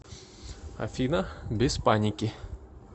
афина без паники